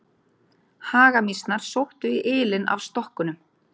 Hagamýsnar sóttu í ylinn af stokkunum.